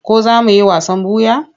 Ko za mu yi wasan ɓuya?